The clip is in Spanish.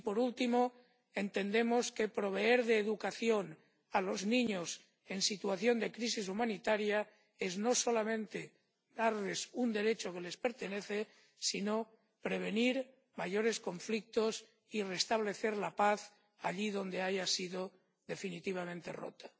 Y, por último, entendemos que proveer de educación a los niños en situación de crisis humanitaria no es solamente darles un derecho que les pertenece, sino prevenir mayores conflictos y restablecer la paz allí donde haya sido definitivamente rota.